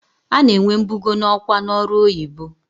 A na-enwe mbugo n'ọkwa n'ọrụ oyibo.